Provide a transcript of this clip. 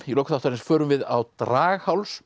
í lok þáttarins förum við á